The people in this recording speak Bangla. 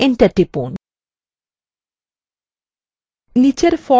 enter টিপুন